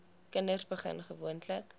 kinders begin gewoonlik